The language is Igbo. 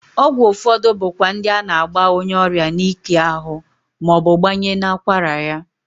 Ọgwụ ụfọdụ bụ kwa ndi a na-agba onyeọrịa n'ike ahụ ma ọ bụ gbanye n'akwara ya.